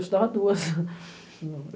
Eu estudava duas.